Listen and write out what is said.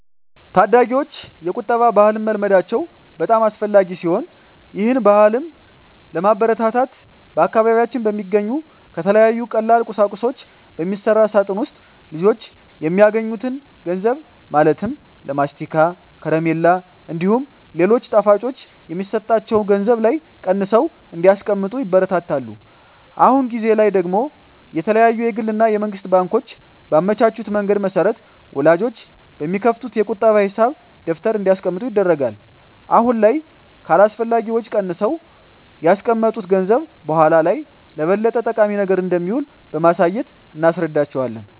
ታዳጊወች የቁጠባ ባህልን መልመዳቸው በጣም አስፈላጊ ሲሆን ይህን ባህልም ለማበረታታት በአካባቢያችን በሚገኙ ከተለያዩ ቀላል ቁሳቁሶች በሚሰራ ሳጥን ውስጥ ልጆች የሚያገኙትን ገንዘብ ማለትም ለማስቲካ፣ ከረሜላ እንዲሁም ሌሎች ጣፋጮች የሚሰጣቸው ገንዘብ ላይ ቀንሰው እንዲያስቀምጡ ይበረታታሉ። አሁን ጊዜ ላይ ደግሞ የተለያዩ የግል እና የመንግስት ባንኮች ባመቻቹት መንገድ መሰረት ወላጆች በሚከፍቱት የቁጠባ ሂሳብ ደብተር እንዲያስቀምጡ ይደረጋል። አሁን ላይ ከአላስፈላጊ ወጪ ቀንሰው ያስቀመጡት ገንዘብ በኃላ ላይ ለበለጠ ጠቃሚ ነገር እንደሚውል በማሳየት እናስረዳቸዋለን።